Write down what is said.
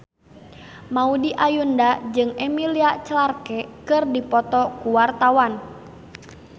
Maudy Ayunda jeung Emilia Clarke keur dipoto ku wartawan